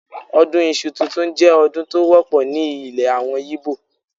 Ọdún Iṣu tuntun jẹ́ ọdún tó wọ́pọ̀ ní ilè àwọn Ìgbò.